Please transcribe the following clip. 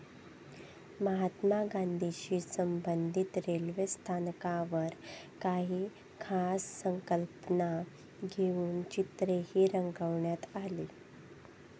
महात्मा गांधीशी संबंधित रेल्वे स्थानकांवर काही खास संकल्पना घेऊन चित्रेही रंगवण्यात आली.